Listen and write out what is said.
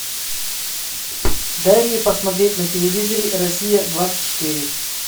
дай мне посмотреть на телевизоре россия двадцать четыре